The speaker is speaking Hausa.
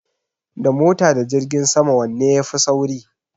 Da mota da jirgin sama wanne ya fi sauri?